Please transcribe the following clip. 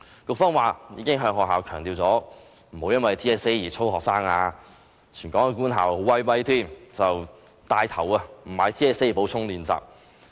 局方表示，已經向學校強調不要因為 TSA 而操練學生，而全港官校更厲害，牽頭不購買 TSA 的補充練習。